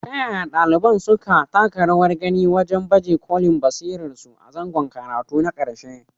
Ta yaya ɗaliban suka taka rawar gani wajen baje kolin basirarsu a zangon karatu na ƙarshe.